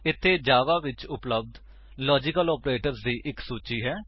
ਇੱਥੇ ਜਾਵਾ ਵਿੱਚ ਉਪਲੱਬਧ ਲਾਜੀਕਲ ਆਪਰੇਟਰਜ਼ ਦੀ ਇੱਕ ਸੂਚੀ ਹੈ